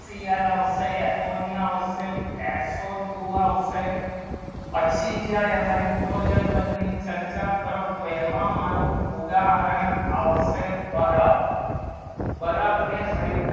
સિઆલ આવશે ammonia આવશે SO two આવશે પછી જયારે hydrogen બંદની ચર્ચા કરો તો તો એમાં મારો ઉદાહરણ આવશે બરફ બ્રહ્ન ને hydrogen